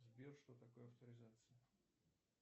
сбер что такое авторизация